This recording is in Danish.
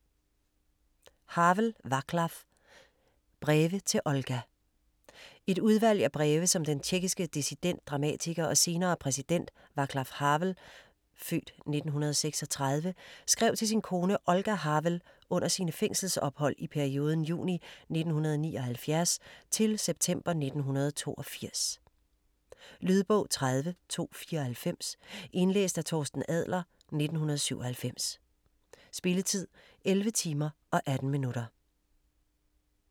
Havel, Václav: Breve til Olga Et udvalg af breve, som den tjekkiske dissident, dramatiker og senere præsident Václav Havel (f. 1936) skrev til sin kone Olga Havel under sine fængselsophold i perioden juni 1979 til september 1982. Lydbog 30294 Indlæst af Torsten Adler, 1997. Spilletid: 11 timer, 18 minutter.